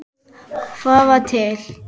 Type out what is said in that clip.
Hvað var til?